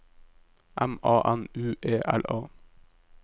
M A N U E L A